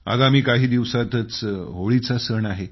आगामी काही दिवसातच होळीचा सण आहे